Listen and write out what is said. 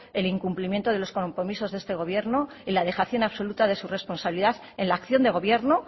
el incumplimiento de los compromisos de este gobierno y la dejación absoluta de su responsabilidad en la acción de gobierno